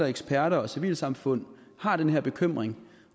eksperter og civilsamfund har den her bekymring